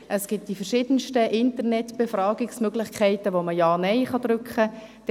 Es gibt verschiedene Internet-Befragungsmöglichkeiten, bei welchen Ja oder Nein geklickt werden kann;